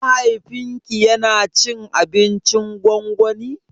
Mahaifin ki yana cin abincin gwangwani?